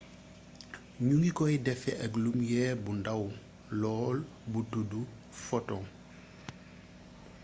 ñu ngi koy defee ak lumiere bu ndaw lool bu tuddu photon